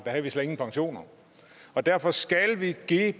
havde vi slet ingen pensioner derfor skal vi give